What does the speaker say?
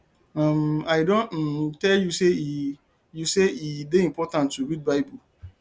um i don um tell you say e you say e dey important to read bible